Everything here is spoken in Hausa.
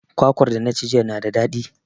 Kwakwar da na ci jiya na da daɗi.